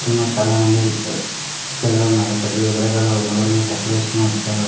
చాలా మంది ప్రజలు ఉన్నారు రంగు రంగు షర్ట్ లు వేసుకొని వచ్చారు.